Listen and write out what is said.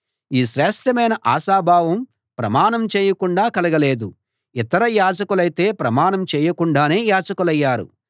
ఈ శ్రేష్ఠమైన ఆశాభావం ప్రమాణం చేయకుండా కలగలేదు ఇతర యాజకులైతే ప్రమాణం లేకుండానే యాజకులయ్యారు